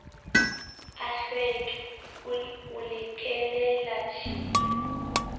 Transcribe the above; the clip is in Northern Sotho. a tlhweki o le kelelatshila